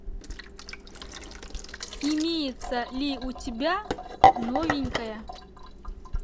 имеется ли у тебя новенькая